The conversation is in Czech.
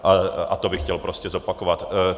A to bych chtěl prostě zopakovat.